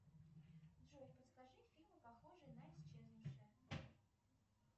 джой подскажи фильмы похожие на исчезнувшая